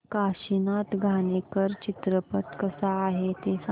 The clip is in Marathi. काशीनाथ घाणेकर चित्रपट कसा आहे ते सांग